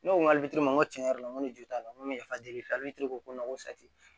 Ne ko ŋ'a n ko tiɲɛ yɛrɛ la n ko ne jo t'a la n ko ko n ko